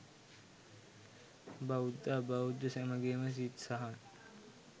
බෞද්ධ, අබෞද්ධ සැමගේම සිත් සහන්